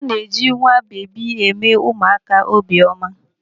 A na-eji nwabebi eme ụmụaka obi ọma.